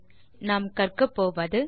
இந்த டுடோரியலின் முடிவில் செய்ய முடிவது